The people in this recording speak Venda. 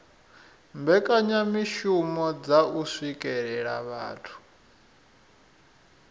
mbekanyamishumo dza u swikelela vhathu